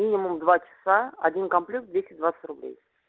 минимум два часа один комплект двести двадцать рублей